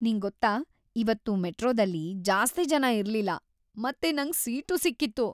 ನಿಂಗೊತ್ತಾ, ಇವತ್ತು ಮೆಟ್ರೋದಲ್ಲಿ ಜಾಸ್ತಿ ಜನ ಇರ್ಲಿಲ್ಲ ಮತ್ತೆ ನಂಗ್ ಸೀಟೂ ಸಿಕ್ಕಿತ್ತು!